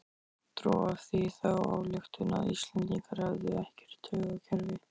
Dró af því þá ályktun að Íslendingar hefðu ekkert taugakerfi.